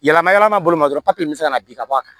Yalama yalama bolo ma dɔrɔn papiye min bɛ se ka na bin ka bɔ a kan